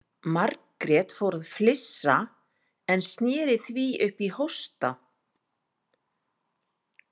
Margrét fór að flissa en sneri því upp í hósta.